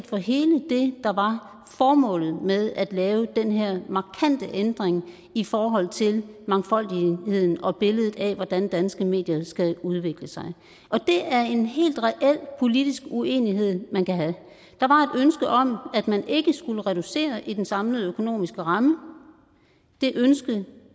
for hele det der var formålet med at lave den her markante ændring i forhold til mangfoldigheden og billedet af hvordan danske medier skal udvikle sig og det er en helt reel politisk uenighed man kan have der var et ønske om at man ikke skulle reducere i den samlede økonomiske ramme det ønske